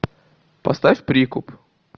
поставь прикуп